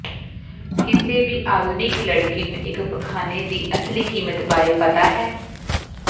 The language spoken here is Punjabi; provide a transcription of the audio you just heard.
ਕਿਸੇ ਵੀ ਆਧੁਨਿਕ ਲੜਕੀ ਨੂੰ ਇਕ ਪਖਾਨੇ ਦੀ ਅਸਲੀ ਕੀਮਤ ਬਾਰੇ ਪਤਾ ਹੈ